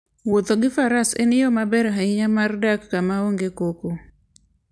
Wuotho gi faras en yo maber ahinya mar dak kama onge koko.